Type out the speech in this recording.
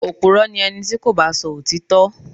Opùrọ́ ni ẹni tí kò bá sọ òtítọ́.